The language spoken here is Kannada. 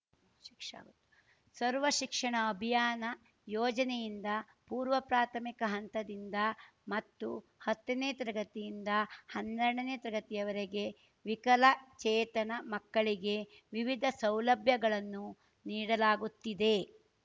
ಸರ್ವ ಶಿಕ್ಷಣ ಅಭಿಯಾನ ಯೋಜನೆಯಿಂದ ಪೂರ್ವ ಪ್ರಾಥಮಿಕ ಹಂತದಿಂದ ಮತ್ತು ಹತ್ತನೇ ತರಗತಿಯಿಂದ ಹನ್ನೆರ್ಡನೇ ತರಗತಿವರೆಗೆ ವಿಕಲಚೇತನ ಮಕ್ಕಳಿಗೆ ವಿವಿಧ ಸೌಲಭ್ಯಗಳನ್ನು ನೀಡಲಾಗುತ್ತಿದೆ